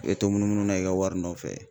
I bɛ to munumunu na i ka wari nɔfɛ